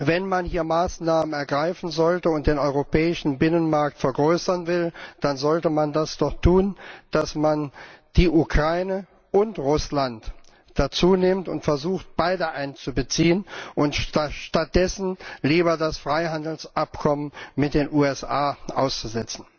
Wenn man hier Maßnahmen ergreifen sollte und den europäischen Binnenmarkt vergrößern will, dann sollte man das doch tun, indem man die Ukraine und Russland dazu nimmt und versucht, beide einzubeziehen, und stattdessen lieber das Freihandelsabkommen mit den USA aussetzt.